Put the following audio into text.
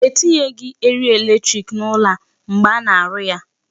E tinyeghị eriri electric n'ụlọ a mgbe a na-arụ ya.